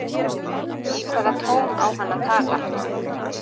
Í hvaða tón á hann að tala?